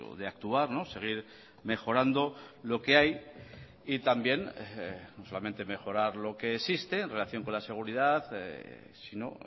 de actuar seguir mejorando lo que hay y también no solamente mejorar lo que existe en relación con la seguridad sino